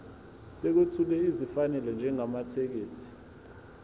sokwethula esifanele njengamathekisthi